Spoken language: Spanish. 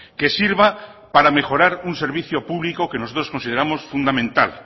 que sirva para mejorar un servicio público que nosotros consideramos fundamental